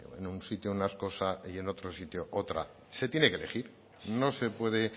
en un sitio una cosa y en otro sitio otra se tiene que elegir no se puede